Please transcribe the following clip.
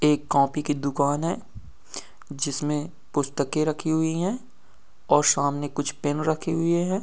एक कॉपी की दुकान है जिसमें पुस्तकें रखी हुई हैं और सामने कुछ पेन रखे हुए हैं।